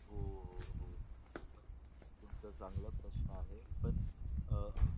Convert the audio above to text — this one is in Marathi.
हो हो हो तुमचा चांगला प्रश्न आहे पण अं